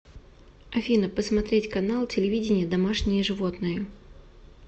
афина посмотреть канал телевидения домашние животные